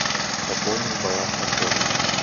пополнить баланс антона